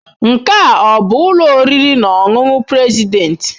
Nke a ọ bụ ụlọ oriri na ọṅụṅụ President?